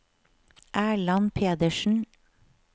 Erland Pedersen